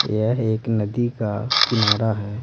यह एक नदी का किनारा है।